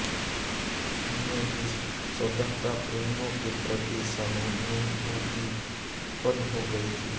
उनमें भी स्वतंत्रता प्रेमियों के प्रति सहानुभूति उत्पन्न हो गई थी